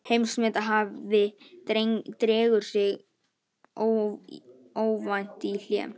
Heimsmethafi dregur sig óvænt í hlé